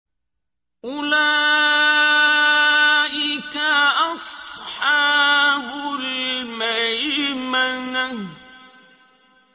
أُولَٰئِكَ أَصْحَابُ الْمَيْمَنَةِ